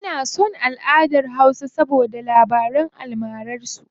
Ina son alʼadar hausa saboda labaran almarar su.